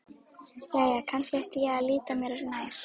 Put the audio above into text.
Jæja, kannski ætti ég að líta mér nær.